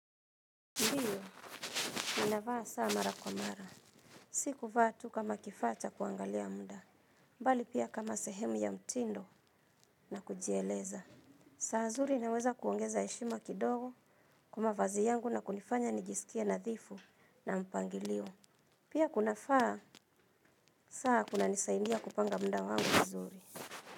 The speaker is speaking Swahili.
Ndiyo, ninavaa saa mara kwa mara. Si kuvaa tu kama kifaa cha kuangalia munda. Mbali pia kama sehemu ya mtindo na kujieleza. Saa zuri inaweza kuongeza heshima kidogo kwa mavazi yangu na kunifanya nijiskie nadhifu na mpangilio. Pia kunafaa, saa kunanisaidia kupanga muda wangu vizuri.